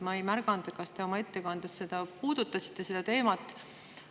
Ma ei märganud, kas te oma ettekandes puudutasite seda teemat.